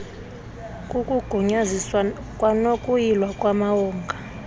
kukugunyaziswa kwanokuyilwa kwamawonga